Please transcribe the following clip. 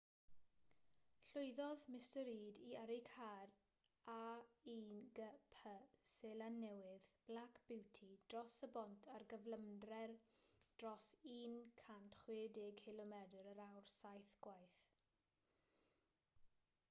llwyddodd mr reid i yrru car a1gp seland newydd black beauty dros y bont ar gyflymder dros 160km yr awr saith gwaith